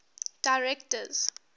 directors